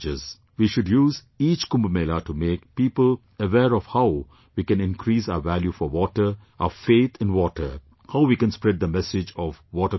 We should use each Kumbh Mela to make people aware of how we can increase our value for water, our faith in water; how we can spread the message of water conservation